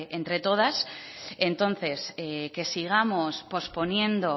entre todas entonces que sigamos posponiendo